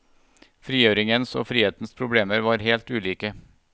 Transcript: Frigjøringens og frihetens problemer var helt ulike.